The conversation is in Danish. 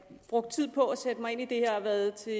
brugt tid på at sætte mig ind i det her og have været til